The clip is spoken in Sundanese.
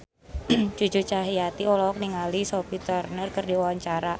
Cucu Cahyati olohok ningali Sophie Turner keur diwawancara